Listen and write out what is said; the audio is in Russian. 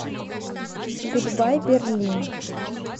гудбай берлин